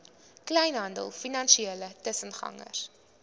kleinhandel finansiële tussengangers